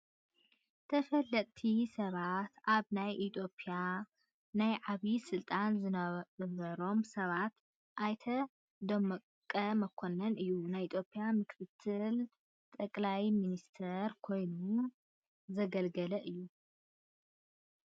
ተፈለጥቲ ሰባት፡-ኣብ ናይ ኢ/ያ ናይ ዓብይ ስልጣን ዝነበሮም ሰባት ኣይተ ደመቀ መኮነን እዩ፡፡ ናይ ኢ/ያ ምክ/ ሰቕ/ሚኒስተር ኮይኑ ዘገልገለ እዩ፡፡